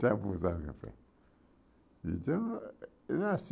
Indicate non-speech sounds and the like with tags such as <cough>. Está abusado de café. Então <unintelligible>